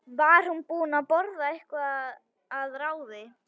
Var hún búin að borða eitthvað að ráði?